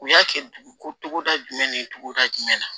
U y'a kɛ dugu koda jumɛn ni togoda jumɛn na